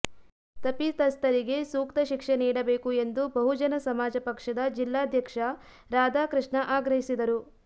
ತಪಿತಸ್ಥರಿಗೆ ಸೂಕ್ತ ಶಿಕ್ಷೆ ನೀಡಬೇಕು ಎಂದು ಬಹುಜನ ಸಮಾಜ ಪಕ್ಷದ ಜಿಲ್ಲಾಧ್ಯಕ್ಷ ರಾಧಾಕೃಷ್ಣ ಆಗ್ರಹಿಸಿದರು